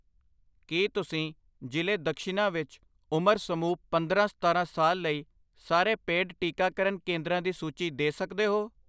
ਕੀ ਤੁਸੀਂ ਜ਼ਿਲ੍ਹੇ ਦਕਸ਼ਿਨਾ ਵਿੱਚ ਉਮਰ ਸਮੂਹ ਪੰਦਰਾਂ ਸਤਾਰਾਂ ਸਾਲ ਲਈ ਸਾਰੇ ਪੇਡ ਟੀਕਾਕਰਨ ਕੇਂਦਰਾਂ ਦੀ ਸੂਚੀ ਦੇ ਸਕਦੇ ਹੋ?